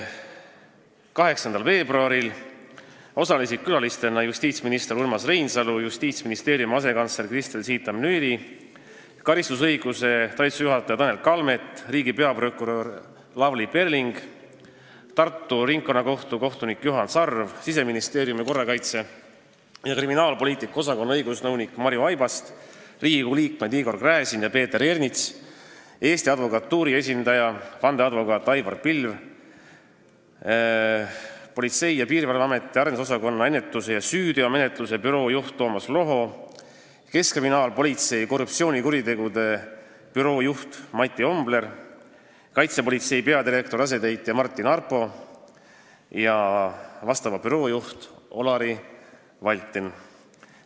8. veebruari istungil osalesid külalistena justiitsminister Urmas Reinsalu, Justiitsministeeriumi asekantsler Kristel Siitam-Nyiri, karistusõiguse ja menetluse talituse juhataja Tanel Kalmet, riigi peaprokurör Lavly Perling, Tartu Ringkonnakohtu kohtunik Juhan Sarv, Siseministeeriumi korrakaitse- ja kriminaalpoliitika osakonna õigusnõunik Marju Aibast, Riigikogu liikmed Igor Gräzin ja Peeter Ernits, vandeadvokaat Aivar Pilv Eesti Advokatuuri esindajana, Politsei- ja Piirivalveameti arendusosakonna ennetuse ja süüteomenetluse büroo juht Toomas Loho, keskkriminaalpolitsei korruptsioonikuritegude büroo juht Mati Ombler, Kaitsepolitseiameti peadirektori asetäitja Martin Arpo ja vastava büroo juht Olari Valtin.